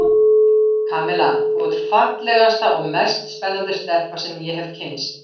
Kamilla, þú ert fallegasta og mest spennandi stelpa sem ég hef kynnst.